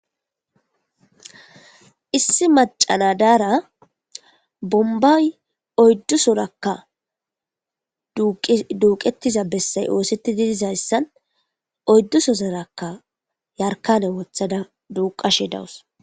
issi macana daara bombay oyddusorakka duuqettiza bessay oosetti didizayssan oyddusozorakka yarkane wothada duuqashe dawus